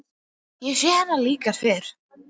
Ég hef séð hennar líka fyrr.